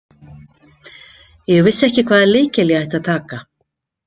Ég vissi ekki hvaða lykil ég ætti að taka